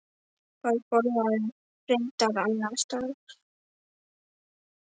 Hann borðaði reyndar annars staðar.